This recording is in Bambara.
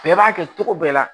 Bɛɛ b'a kɛ cogo bɛɛ la